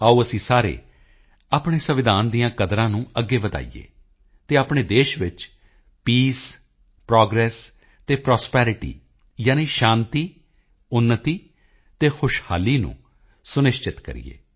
ਆਓ ਅਸੀਂ ਸਾਰੇ ਆਪਣੇ ਸੰਵਿਧਾਨ ਦੀਆਂ ਕਦਰਾਂ ਕੀਮਤਾਂ ਨੂੰ ਅੱਗੇ ਵਧਾਈਏ ਅਤੇ ਆਪਣੇ ਦੇਸ਼ ਵਿੱਚ ਪੀਸ ਪ੍ਰੋਗ੍ਰੇਸ਼ਨ ਅਤੇ ਪ੍ਰਾਸਪੈਰਿਟੀ ਯਾਨੀ ਸ਼ਾਂਤੀ ਉੱਨਤੀ ਅਤੇ ਖੁਸ਼ਹਾਲੀ ਨੂੰ ਸੁਨਿਸ਼ਚਿਤ ਕਰੀਏ